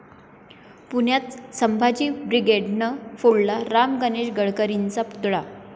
पुण्यात संभाजी ब्रिगेडनं फोडला राम गणेश गडकरींचा पुतळा